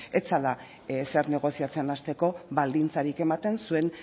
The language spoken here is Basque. ez zela ezer negoziatzen hasteko baldintzarik ematen zuen